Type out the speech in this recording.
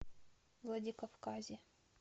владикавказе